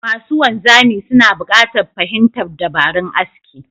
Masu wanzami suna buƙatar fahimtar dabarun aski